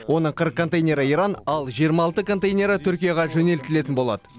оның қырық контейнері иран ал жиырма алты контейнері түркияға жөнелтілетін болады